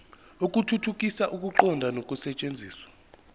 ukuthuthukisa ukuqonda nokusetshenziswa